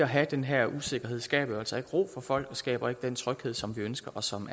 have den her usikkerhed skaber jo altså ikke ro for folk det skaber ikke den tryghed som vi ønsker og som